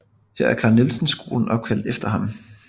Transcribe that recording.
Her er Carl Nielsen Skolen opkaldt efter ham